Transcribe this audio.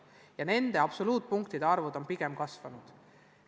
Ja need absoluutarvud on pigem kasvanud.